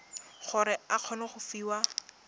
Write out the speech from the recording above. gore o kgone go fiwa